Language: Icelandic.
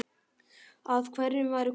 Að hverjum væri komið